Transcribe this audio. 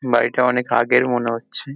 বাড়িটা অনেক আগের মনে হচ্ছে।